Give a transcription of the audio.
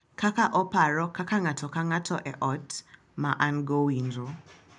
Kaka oparo kaka ng’ato ka ng’ato e ot ma an-go winjo.